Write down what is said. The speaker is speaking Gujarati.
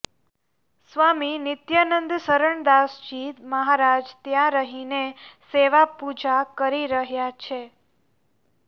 સ્વામી નિત્યાનંદશરણદાસજી મહારાજ ત્યાં રહીને સેવા પૂજા કરી રહ્યા છે